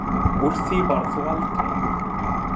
Úr því varð þó aldrei.